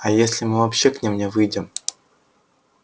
а если мы вообще к ним не выйдем